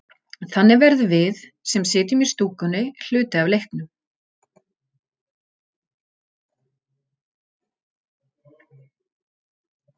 Smit manna á milli á sér hins vegar ekki stað.